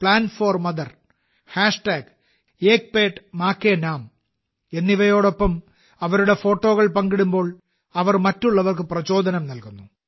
plant4Mother Ek Ped Maa Ke Naam എന്നിവയോടൊപ്പം അവരുടെ ഫോട്ടോകൾ പങ്കിടുമ്പോൾ അവർ മറ്റുള്ളവർക്ക് പ്രചോദനം നൽകുന്നു